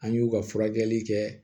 An y'u ka furakɛli kɛ